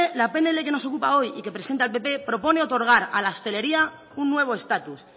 la pnl que nos ocupa hoy y que presenta el pp propone otorgar a la hostelería un nuevo estatus